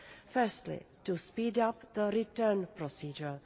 Firstly, to speed up the return procedure.